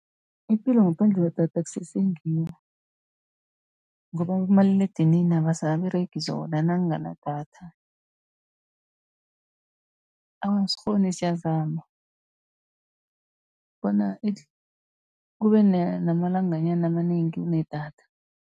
Ipilo ngaphandle kwedatha akusese ngiyo, ngoba abomaliledinini abasaberegi zona nakunganadatha. Awa, asikghoni siyazama bona kube namalanganyana amanengi unedatha.